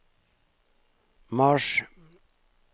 mars